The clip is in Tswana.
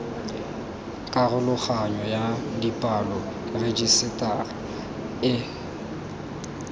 karologanyo ya dipalo rejisetara e